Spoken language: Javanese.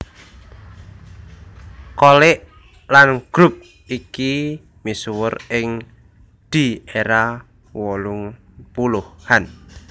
Cholik lan grup iki misuwur ing di era wolung puluhan